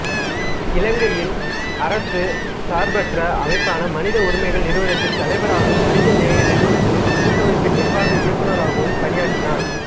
இலங்கையின் அரசு சார்பற்ற அமைப்பான மனித உரிமைகள் நிறுவனத்தின் தலைவராகவும் மனிதநேய நிறுவனங்களின் கூட்டமைப்பின் நிர்வாக இயக்குநராகவும் பணியாற்றினார்